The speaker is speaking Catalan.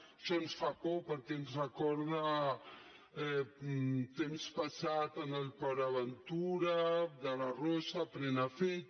això ens fa por perquè ens recorda temps passats amb port aventura de la rosa prenafeta